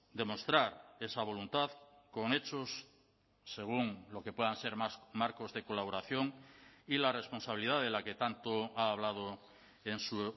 demostrar esa voluntad con hechos según lo que puedan ser más marcos de colaboración y la responsabilidad de la que tanto ha hablado en su